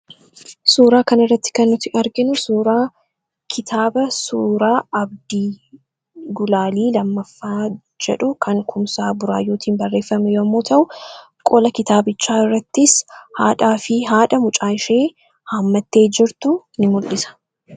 suuraa kan irratti kennuti arginu suuraa kitaaba suuraa abdii gulaalii lammaffaa jedhu kan kumsaa buraayootin barreeffame yommuu ta'u qola kitaabichaa irrattis haadhaa fi haadha mucaa'ishee haammattee jirtu in mul'isa